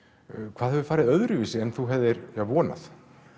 hvað hefur farið öðruvísi en þú hefðir vonað